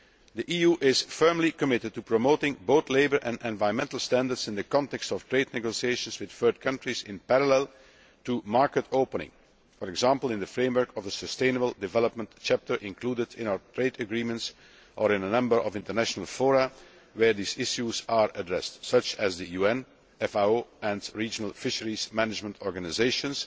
The EU is firmly committed to promoting both labour and environmental standards in the context of trade negotiations with third countries in parallel to market opening for example, in the framework of a sustainable development chapter included in our trade agreements or in a number of international fora where these issues are addressed, such as the UN, FAO and regional fisheries management organisations,